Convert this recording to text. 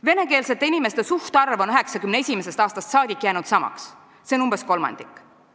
Venekeelsete inimeste suhtarv on 1991. aastast saadik jäänud samaks, see on umbes kolmandik.